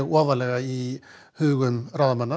ofarlega í hugum ráðamanna